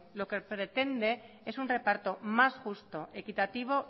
lo que pretende es un reparto más justo equitativo